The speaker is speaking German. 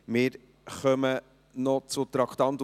Wir kommen noch zum Traktandum 62.